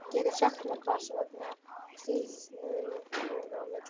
Geturðu sagt mér hvers vegna slitnaði upp úr milli